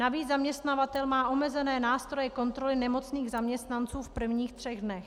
Navíc zaměstnavatel má omezené nástroje kontroly nemocných zaměstnanců v prvních třech dnech.